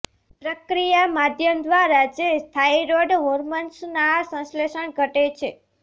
પ્રક્રિયા માધ્યમ દ્વારા જે થાઇરોઇડ હોર્મોન્સ ના સંશ્લેષણ ઘટે છે